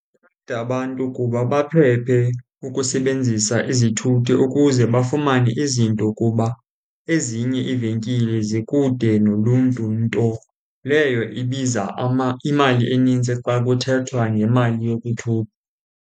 Abantu kuba baphephe ukusebenzisa izithuthi ukuze bafumane izinto kuba ezinye iivenkile zikude noluntu, nto leyo ibiza imali enintsi xa kuthethwa ngemali .